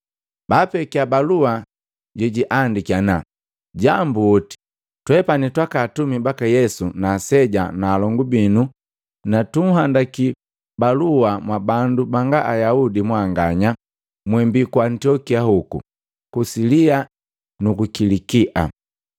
Baapekia balua jejiandiki ana, “Jambuoti, twepani twaka atumi baka Yesu na aseja na alongu binu na tutenda kunhandi balua mwabandu banga Ayaudi mwanganya mwembi ku Antiokia hoku, ku Silia nuku Kilikia.